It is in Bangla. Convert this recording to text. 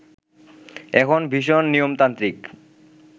এখন ভীষণ নিয়মতান্ত্রিক